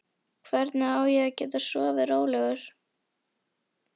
Hvernig á ég að geta sofið rólegur?